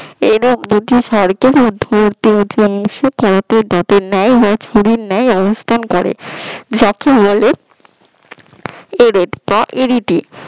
এরূপ নীতিশার কে উঁচু অংশে ছুরির ন্যায় রূপ অবস্থান করে। এদেরকে বলে এরেট বা এবিটি